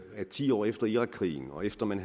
at ti år efter irakkrigen og efter man